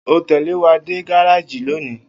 O óò tè̩lé wa dé gárájì lónìí!